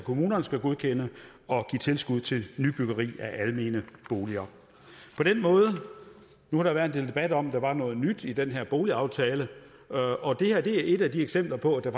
kommunerne skal godkende og give tilskud til nybyggeri af almene boliger nu har der været en del debat om om der var noget nyt i den her boligaftale og det her er et af de eksempler på at der